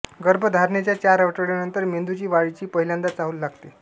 गर्भधारणेच्या चार आठवड्यानंतर मेंदूच्या वाढीची पहिल्यांदा चाहूल लागते